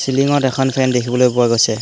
চিলিংত এখন ফেন দেখিবলৈ পোৱা গৈছে।